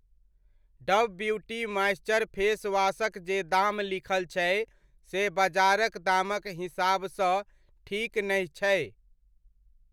Dub beauty moisture face वॉशक जे दाम लिखल छै से बजारक दामक हिसाब सँ ठीक नहि छै।